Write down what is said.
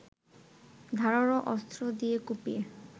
ধারালো অস্ত্র দিয়ে কুপিয়ে